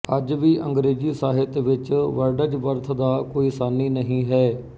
ਅੱਜ ਵੀ ਅੰਗਰੇਜ਼ੀ ਸਾਹਿਤ ਵਿੱਚ ਵਰਡਜ਼ਵਰਥ ਦਾ ਕੋਈ ਸਾਨੀ ਨਹੀਂ ਹੈ